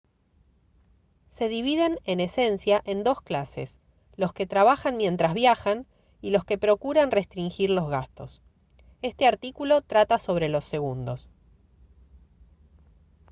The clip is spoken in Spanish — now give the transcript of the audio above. se dividen en esencia en dos clases los que trabajan mientras viajan y los que procuran restringir los gastos este artículo trata sobre los segundos